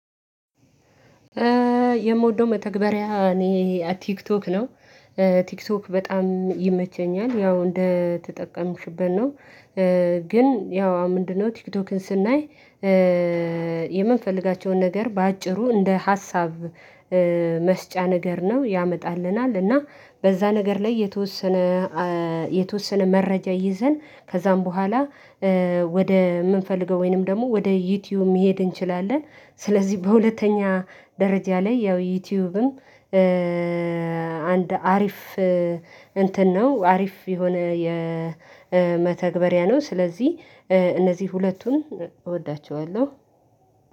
የምወደው መተግበሪያ እኔ ቲክቶክ ነው። ቲክቶክ በጣም ይመቸኛል ያው እንደተጠቀምሽበት ነው ግን ያው ምንድነው? ቲክቶክን ስናይ። የምንፈልጋቸውን ነገር በአጭሩ እንደ ሀሳብ መስጫ ነገር ነው ያመጣልናል። እና በዛ ነገር ላይ የተወሰነ የተወሰነ መረጃ ይዘን ከዛም በኋላ ወደ የምንፈልገው ወይንም ደግሞ ወደ ዩቲዩብ መሄድ እንችላለን። ስለዚህ በሁለተኛ ደረጃ ላይ ያው ዩቲዩብም። አንድ አሪፍ እንትን ነው አሪፍ የሆነ የመተግበሪያ ነው። ስለዚህ እነዚህ ሁለቱን እወዳቸዋለሁ።